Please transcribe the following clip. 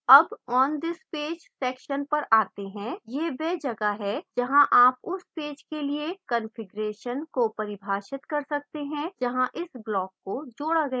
अब on this page section पर आते हैं